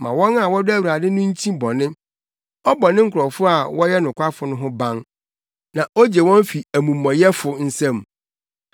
Ma wɔn a wɔdɔ Awurade no nkyi bɔne, ɔbɔ ne nkurɔfo a wɔyɛ nokwafo no ho ban na ogye wɔn fi amumɔyɛfo nsam.